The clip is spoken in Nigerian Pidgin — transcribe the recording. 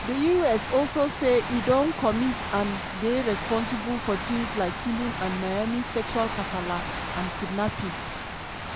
di us also say e don commit and dey responsible for tins like killing and maiming sexual kasala and kidnapping.